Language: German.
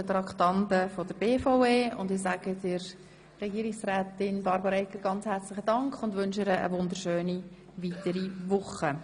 Ich bedanke mich herzlich bei der Frau Regierungsrätin Egger und wünsche ihr eine schöne weitere Woche.